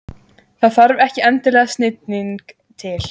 Það þarf ekki endilega snilling til.